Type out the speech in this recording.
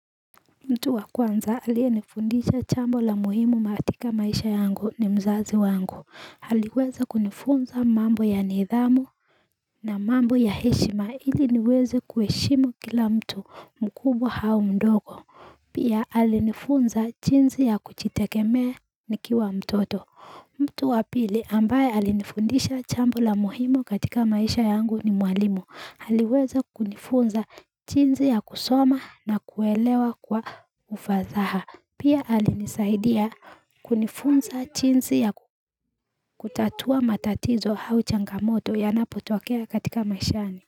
Mtu wa kwanza alienifundisha chambo la muhimu katika maisha yangu ni mzazi wangu, aliweze kunifunza mambo ya nidhamu na mambo ya heshima ili niweze kuheshimu kila mtu mkubwa au mdogo, pia alinifunza jiinsi ya kujiitegemea nikiwa mtoto. Mtu wa pili ambaye alinifundisha jambo la muhimu katika maisha yangu ni mwalimu. Aliweza kunifunza jiinsi ya kusoma na kuelewa kwa ufasaha. Pia alinisaidia kunifunza jinsi ya kutatua matatizo au changamoto yanapotokea katika maishani.